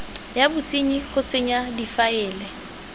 ya bosenyi go senya difaele